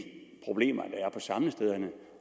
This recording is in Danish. problemer der er på samlestederne